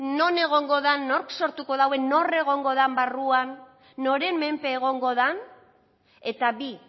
non egongo den nork sortuko duen nor egongo den barruan noren menpe egongo den eta bi